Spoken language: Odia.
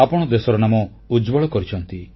ଆପଣ ଦେଶର ନାମ ଉଜ୍ଜ୍ୱଳ କରିଛନ୍ତି